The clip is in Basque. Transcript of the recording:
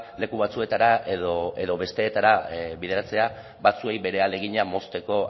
leku batzuetara edo besteetara bideratzea batzuei bere ahalegina mozteko